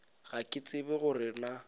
ga ke tsebe gore na